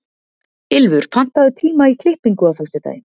Ylfur, pantaðu tíma í klippingu á föstudaginn.